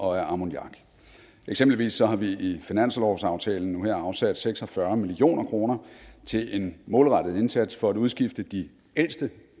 og af ammoniak eksempelvis har vi i finanslovsaftalen nu her afsat seks og fyrre million kroner til en målrettet indsats for at udskifte de ældste